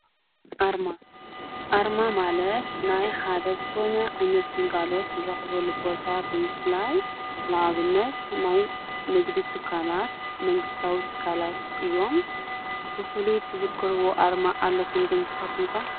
ኣርማ ኣርማ ማለት ናይ ሓደት ኾነ ኣይነት ግልጋሎት ንረኽቦ ቦታ ብምፍላይ ለዓብነት ናይ ነግድ ትካላት መንግሥታዊ ትካላት እዮም። ፍፍሉትዘክርቡ ኣርማ ኣለኹም ንስካትኩም ከ